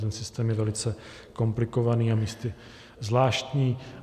Ten systém je velice komplikovaný a místy zvláštní.